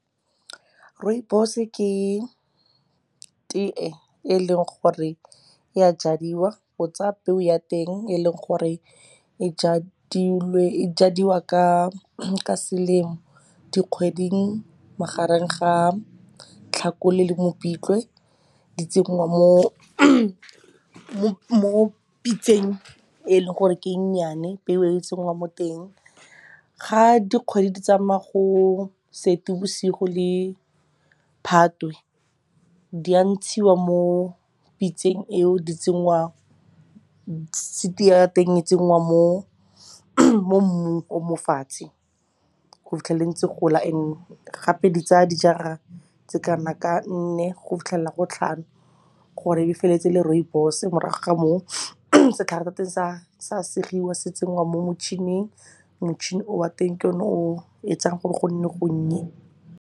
Rooibos-e ke tee e leng gore e a jadiwa. O tsaya peo ya teng e leng gore e jadiwa ka selemo, dikgweding magareng ga Tlhakole le Mopitlwe. Di tsengwa mo pitseng e leng gore ke e nnyane, peo e o e tsenngwa mo teng. Ga dikgwedi di tsamaya go Seetebosigo le Phatwe, di ya ntshiwa mo pitseng e o seed-i ya teng e tsenngwa mo mmung o mo fatshe go fitlhelela ntse e gola. And-e gape ditsa dijara tse kana ka nne go fitlhelela go tlhano gore e be feleletse e le rooibos-e. Morago ga moo setlhare sa teng sa segiwa se tsenngwa mo motšhining, motšhini o wa teng ke yone o etsang gore gonne gonnye.